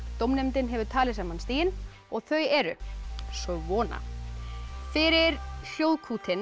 dómnefndin hefur talið saman stigin og þau eru svona fyrir